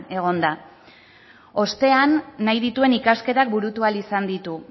egon da ostean nahi dituen ikasketak burutu ahal izan ditu